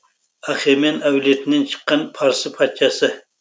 артаксеркс ахемен әулетінен шыққан парсы патшасы